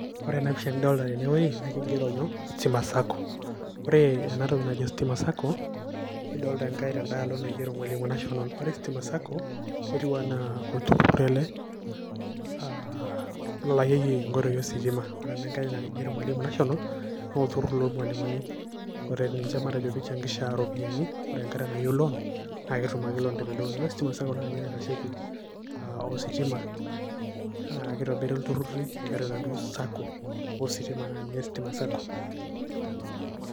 Ore ena pisha nidolta tenewei, na kigero nyoo, Stima Sacco. Ore enatoki najo Stima Sacco, nidolta enkae tedaalo naigero Mwalimu National. Ore Stima Sacco, netiu enaa olturrur ele, ah lolakieki inkoitoi ositima. Ore ena nkae na kigero Mwalimu National, na olturrur lolmalimuni. Ore ninche matejo pichangisha ropiyaiani, ore enkata nayieu loan, na ketum ake loan tenaduo. Ore Stima Sacco na ninye naitasheki ositima. Ah kitobiri ilturrurri tiatua enaduo Sacco, ositima na ninye Stima Sacco.